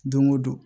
Don o don